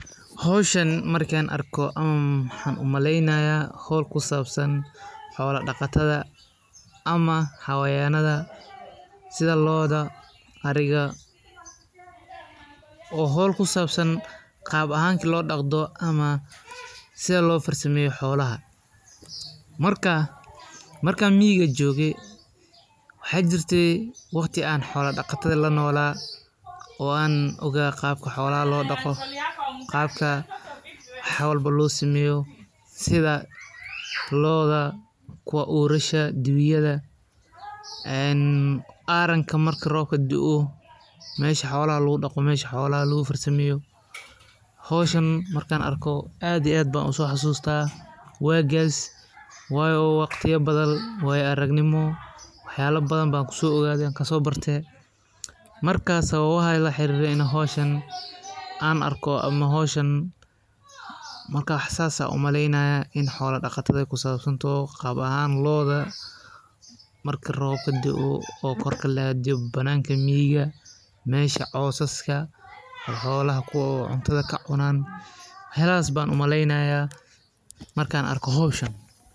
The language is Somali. Hoshan marka arko maxaan u maleynaya hol kusabsan xola daqataada ama xayawanadha sitha lodha ariga oo hol kusabsan qab ahanki lo daqdo ama marka miga joge waxaa jirte waqti an xola saqatadha lanola oo an iga qabka xola daqatadha wax walbo lo sameyo sitha lodha kuwa orasha dibiyada ee aranka marka robka dao mesha xolaha dagu daqo hoshan marka arko aad iyo aad ayan uso xasusta wagas wayo waqti arag nimo wayo waxyala badan ayan kaso barte markas sawabaha la xirire in an ama hoshan wax sas ayan umaleynaya in ee kusabsantoho gar ahan lodha marku robka dao an adiyo badiyaha miga misha cosaska colaha kuyalo oo cuntadha ka cunan waxyalas ayan u maleyneya marka arko hoshan.